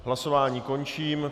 Hlasování končím.